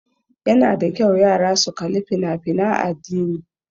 Ya na da kyau yara su kali fina fina addini